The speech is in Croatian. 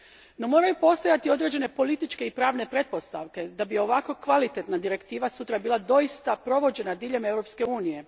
No moraju postojati određene političke i pravne pretpostavke da bi ovako kvalitetna direktiva sutra bila doista provođena diljem Europske unije.